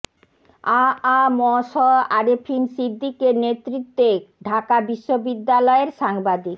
আ আ ম স আরেফিন সিদ্দিকের নেতৃত্বে ঢাকা বিশ্ববিদ্যালয়ের সাংবাদিক